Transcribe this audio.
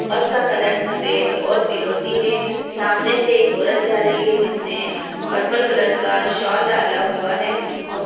बस का कलर सफेद और फिरोजी है। सामने से एक औरत जा रही है जिसने पर्पल कलर का सौल डाला हुआ है और --